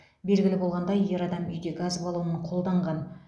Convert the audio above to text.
белгілі болғандай ер адам үйде газ баллонын қолданған